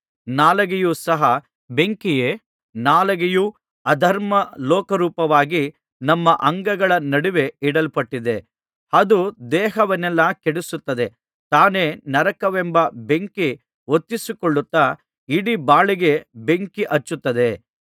ನಾಲಿಗೆಯೂ ಸಹ ಬೆಂಕಿಯೇ ನಾಲಿಗೆಯೂ ಅಧರ್ಮ ಲೋಕರೂಪವಾಗಿ ನಮ್ಮ ಅಂಗಗಳ ನಡುವೆ ಇಡಲ್ಪಟ್ಟಿದೆ ಅದು ದೇಹವನ್ನೆಲ್ಲಾ ಕೆಡಿಸುತ್ತದೆ ತಾನೇ ನರಕವೆಂಬ ಬೆಂಕಿ ಹೊತ್ತಿಸಿಕೊಳ್ಳುತ್ತಾ ಇಡೀ ಬಾಳಿಗೆ ಬೆಂಕಿ ಹಚ್ಚುತ್ತದೆ